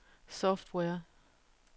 software